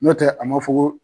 Nɔtɛ a ma fɔ ko